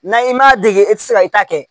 N'a i m'a dege e ti se ka i ta kɛ